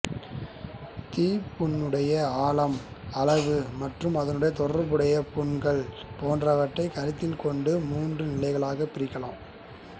தீப்புண்ணுடைய ஆழம் அளவு மற்றும் அதனுடன் தொடர்புடைய புண்கள் போன்றவற்றைக் கருத்தில் கொண்டு மூன்று நிலைகளாகப் பிரிக்கலாம்